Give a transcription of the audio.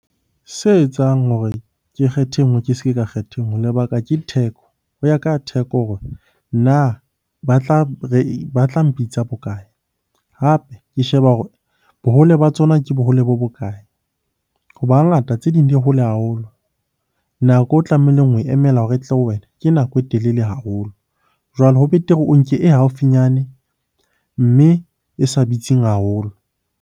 Se etsang hore ke kgethe e nngwe ke se ke ka kgetha e nngwe lebaka ke theko. Ho ya ka ya theko hore na ba tla batla mpitsa bokae? Hape ke sheba hore bohole ba tsona ke bohole bo bokae? Hoba hangata tse ding di hole haholo, nako o tlamehileng ho e emela hore e tle ho wena ke nako e telele haholo. Jwale ho betere o nke e haufinyane, mme e sa bitsing haholo.